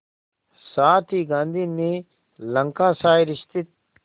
साथ ही गांधी ने लंकाशायर स्थित